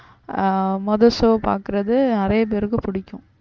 ஆஹ் மொத show பாக்குறது நிறைய பேருக்கு பிடிக்கும்